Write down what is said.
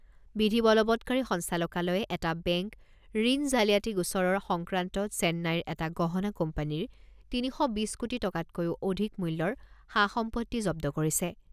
বিধি বলৱৎকাৰী সঞ্চালকালয়ে এটা বেংক ঋণ জালিয়াতি গোচৰৰ সংক্ৰান্তত চেন্নাইৰ এটা গহণা কোম্পানীৰ তিনি শ বিছ কোটি টকাতকৈও অধিক মূল্যৰ সা সম্পত্তি জব্দ কৰিছে।